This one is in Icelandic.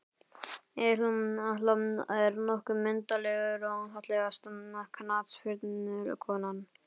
Egill Atla er nokkuð myndarlegur Fallegasta knattspyrnukonan?